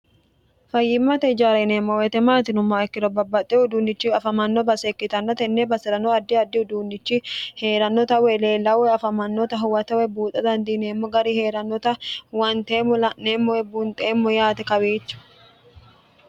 fayyimmate ijaari yineemmo weete maati yinummoha ikkiro babbaxxewo uduunnichi afamanno base ikkitanno tenne baserano addi addi uhuduunnichi heerannota woy leellaawa afamannota huwatewe buuxa dandiineemmo gari heerannota huwanteemmo la'neemmo woy bunxeemmo yaate kawiicho